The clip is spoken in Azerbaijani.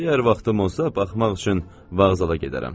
Əgər vaxtım olsa, baxmaq üçün vağzala gedərəm.